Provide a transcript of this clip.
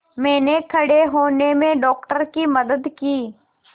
मैंने खड़े होने में डॉक्टर की मदद की